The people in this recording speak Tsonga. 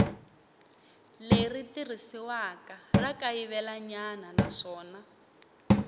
leri tirhisiwaka ra kayivelanyana naswona